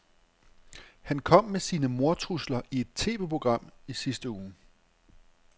Han kom med sine mordtrusler i et TVprogram i sidste uge.